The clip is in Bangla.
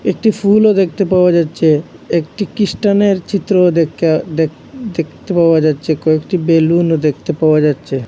একটি ফুলও দেখতে পাওয়া যাচ্ছে একটি ক্রিস্টানের চিত্রও দেইখা দেখ দেখতে পাওয়া যাচ্ছে কয়েকটি বেলুনও দেখতে পাওয়া যাচ্ছে।